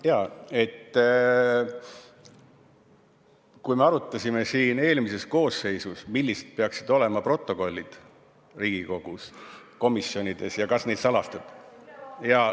Jaa, kui me arutasime eelmises koosseisus, millised peaksid olema Riigikogu komisjonide protokollid ja kas need salastada ...